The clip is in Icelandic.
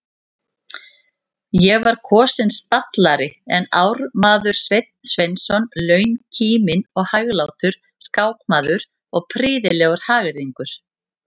Ég var kosinn stallari en ármaður Sveinn Sveinsson, launkíminn og hæglátur skákmaður og prýðilegur hagyrðingur.